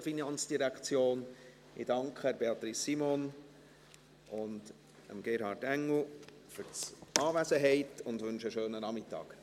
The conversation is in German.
Ich danke Beatrice Simon und Gerhard Engel für die Anwesenheit und wünsche ihnen einen schönen Nachmittag.